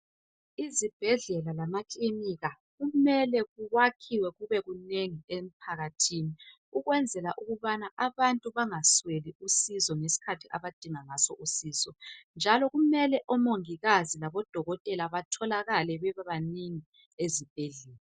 Izibhedlela lamakilinika kumele kwakhiwe kube kunengi emphakathini ukwenzela ukubana abantu bangasweli usizo ngesikhathi abadinga ngaso usizo. Kumele omongikazi labodokotela batholakale babebanengi ezibhedlela.